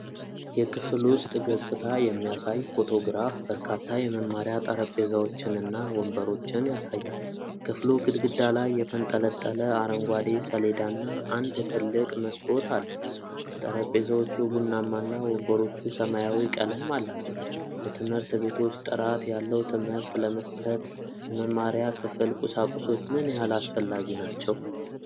የክፍል ውስጥ ገጽታ የሚያሳይ ፎቶግራፍ በርካታ የመማሪያ ጠረጴዛዎችንና ወንበሮችን ያሳያል። ክፍሉ ግድግዳ ላይ የተንጠለጠለ አረንጓዴ ሰሌዳና አንድ ትልቅ መስኮት አለው። ጠረጴዛዎቹ ቡናማና ወንበሮቹ ሰማያዊ ቀለም አላቸው። በትምህርት ቤቶች ጥራት ያለው ትምህርት ለመስጠት የመማሪያ ክፍል ቁሳቁሶች ምን ያህል አስፈላጊናቸው?